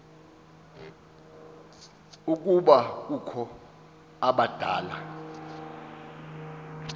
ukuba kukho abadala